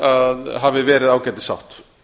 að hafi verið ágætissátt